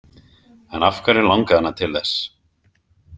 En af hverju langaði hana til þess?